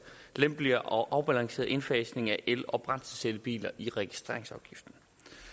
lempelig og afbalanceret indfasning af el og brændselscellebiler i registreringsafgiften